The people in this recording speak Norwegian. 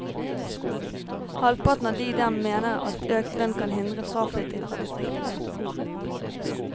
Halvparten av de dem mener at økt lønn kan hindre fraflytting fra distriktene.